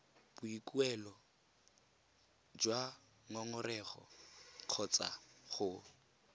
boikuelo jwa ngongorego kgotsa go